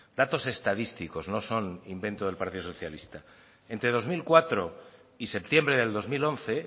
datos estadísticos no son invento del partido socialista entre dos mil cuatro y septiembre del dos mil once